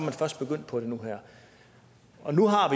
er først begyndt på det nu her nu har